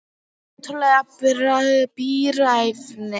Ótrúleg bíræfni að geyma allar þessar flöskur inni á heimilinu.